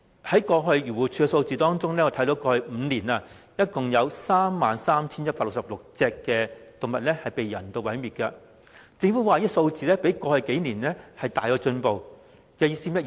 根據漁護署的數字，過去5年共有 33,166 隻動物被人道毀滅，政府指這個數字比過去數年大有進步，這是甚麼意思？